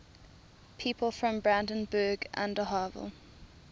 people from brandenburg an der havel